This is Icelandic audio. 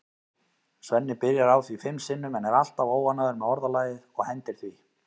Svenni byrjar á því fimm sinnum en er alltaf óánægður með orðalagið og hendir því.